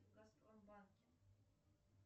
в газпромбанке